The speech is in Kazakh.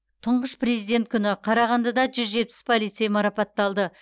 тұңғыш президент күні қарағандыда жүз жетпіс полицей марапатталды